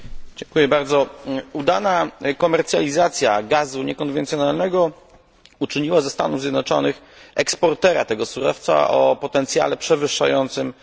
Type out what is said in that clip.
Udana komercjalizacja gazu niekonwencjonalnego uczyniła ze Stanów Zjednoczonych eksportera tego surowca o potencjale przewyższającym potencjał rosyjski.